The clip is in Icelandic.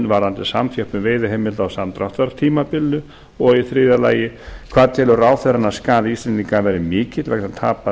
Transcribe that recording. varðandi samþjöppun veiðiheimilda á samdráttartímabilinu þriðja hvað telur ráðherra að skaði íslendinga verði mikill vegna tapaðrar